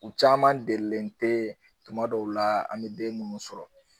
U caman delilen tɛ tuma dɔw la an mɛ den ninnu sɔrɔ.